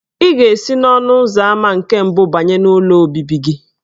Ị ga-esi n'ọnụ ụzọ ámá nke mbụ banye n'ụlọ obibi gị.